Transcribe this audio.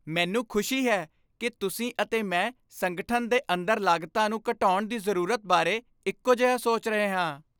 ਮੈਨੂੰ ਖੁਸ਼ੀ ਹੈ ਕਿ ਤੁਸੀਂ ਅਤੇ ਮੈਂ ਸੰਗਠਨ ਦੇ ਅੰਦਰ ਲਾਗਤਾਂ ਨੂੰ ਘਟਾਉਣ ਦੀ ਜ਼ਰੂਰਤ ਬਾਰੇ ਇਕੋ ਜਿਹਾ ਸੋਚ ਰਹੇ ਹਾਂ।